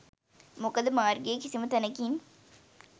මොකද මාර්ගයේ කිසිම තැනකින්